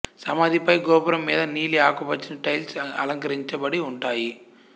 సమాధిపై గోపురం మీద నీలి ఆకుపచ్చని టైల్స్ అలంకరించబడి ఉంటాయి